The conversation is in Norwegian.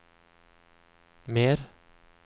mer